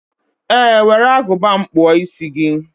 Ee were Agụba m kpụọ isi gị.